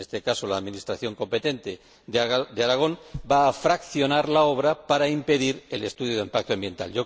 En este caso, la administración competente de Aragón va a fraccionar la obra para impedir el estudio de impacto ambiental.